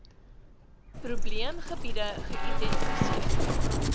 probeem gebiede geïdentifiseer